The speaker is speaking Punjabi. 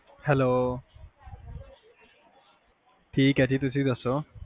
hello ਠੀਕ ਆ ਜੀ ਤੁਸੀਂ ਦਸੋ